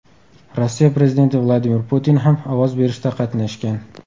Rossiya prezidenti Vladimir Putin ham ovoz berishda qatnashgan .